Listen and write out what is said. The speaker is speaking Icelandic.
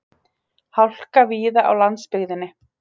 Hálka víða á landsbyggðinni